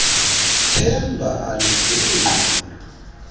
themba alidluli ngqondo